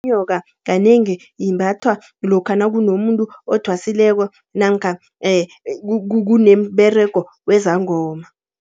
Inyoka kanengi imbathwa lokha nakunomuntu othwasileko namkha kunomberego wezangoma.